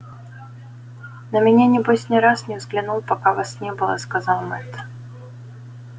на меня небось ни разу не взглянул пока вас не было сказал мэтт